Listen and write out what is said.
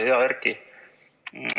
Hea Erki!